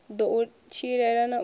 ḓo u tshilela na u